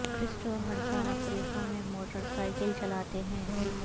کرسٹو ہر سال افریقہ میں موٹر سائکل چلاتے ہیں